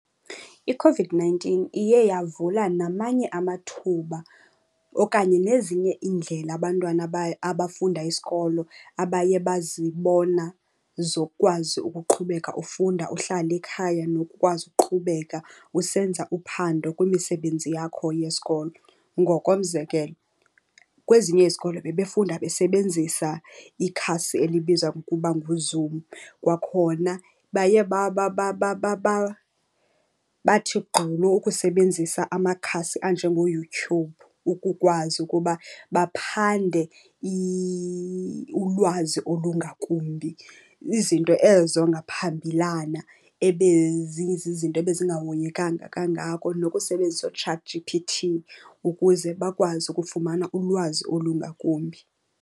ICOVID-nineteen iye yavula namanye amathuba okanye nezinye iindlela abantwana abafunda isikolo abaye bazibona zokwazi ukuqhubeka ufunda uhlale ekhaya, nokukwazi ukuqhubeka usenza uphando kwimisebenzi yakho yesikolo. Ngokomzekelo, kwezinye izikolo bebefunda besebenzisa ikhasi elibizwa ngokuba nguZoom. Kwakhona baye bathi gqolo ukusebenzisa amakhasi anjengoYouTube ukukwazi ukuba baphande ulwazi olungakumbi. Izinto ezo ngaphambilana zizinto ebezingahoyekanga kangako nokusebenzisa ooChatG_P_T ukuze bakwazi ukufumana ulwazi olungakumbi.